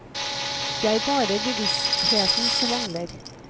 Det er bare bevisstheten som mangler.